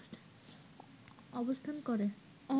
অবস্থান করে